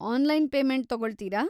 Online payment ತಗೊಳ್ತೀರಾ?